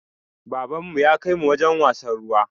Baban mu ya kai mu wajen wasan ruwa